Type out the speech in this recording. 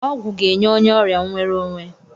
Ọgwụ ga-enye onye ọrịa nwere onwe.